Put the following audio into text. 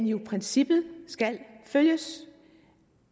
jo i princippet skal følges